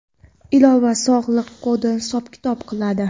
Ilova sog‘liq kodini hisob-kitob qiladi.